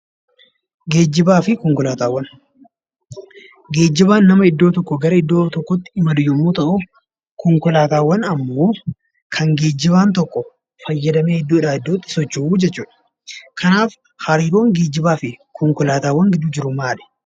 Geejjibaa fi konkolaataawwan. Geejjibaan nama iddoo tokkoo gara iddoo tokkootti imalu yommuu ta'uu konkolaataawwan ammoo kan geejjibaan tokko fayyadamee iddoodhaa iddootti socho'uu jechuudha. Kanaaf hariiroon geejjibaa fi konkolaataawwan jidduu jiru maali?